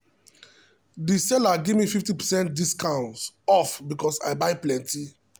the seller gimme 5 percent off because i buy plenty.